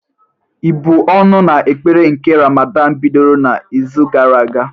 Ị́bụ̀ ọnụ na ekpere nke Ramadan bidoro n'izu gara aga?